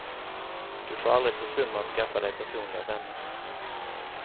Du får aldrig försumma att skaffa dig personliga vänner.